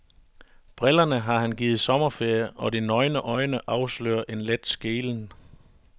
Brillerne har han givet sommerferie, og de nøgne øjne afslører en let skelen.